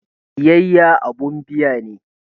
Biyayya abun biya ne.